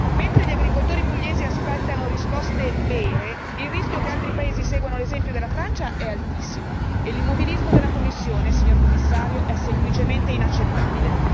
Mentre gli agricoltori pugliesi aspettano risposte vere il rischio che altri paesi seguano l'esempio della Francia è altissimo e l'immobilismo della Commissione, signor Commissario, è semplicemente inaccettabile.